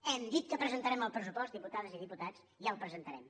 hem dit que presentarem el pressupost diputades i diputats i el presentarem